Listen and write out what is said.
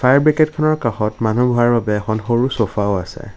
Fire ব্ৰিগেডখনৰ কাষত মানুহ বহাৰ বাবে এখন সৰু চুফাও আছে।